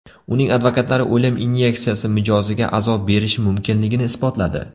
Uning advokatlari o‘lim inyeksiyasi mijoziga azob berishi mumkinligini isbotladi.